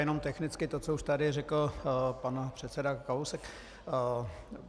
Jenom technicky to, co už tady řekl pan předseda Kalousek.